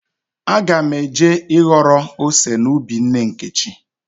Aga m eje ịghọrọ ose n'ubi nne Nkechi.